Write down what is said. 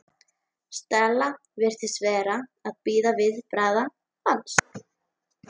Stella virtist vera að bíða viðbragða hans.